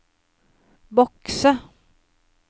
bokse